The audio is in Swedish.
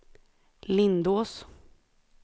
Lindås